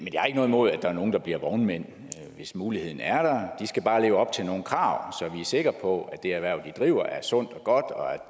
noget imod at der er nogle der bliver vognmænd hvis muligheden er der de skal bare leve op til nogle krav så vi er sikre på at det erhverv de driver er sundt og